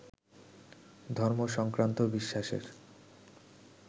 ধর্ম সংক্রান্ত বিশ্বাসের